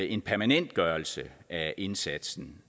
en permanentgørelse af indsatsen